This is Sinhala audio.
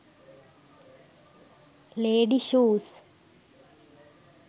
lady shoes